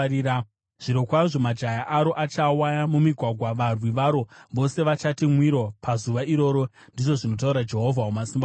Zvirokwazvo majaya aro achawa mumigwagwa; varwi varo vose vachati mwiro pazuva iroro,” ndizvo zvinotaura Jehovha Wamasimba Ose.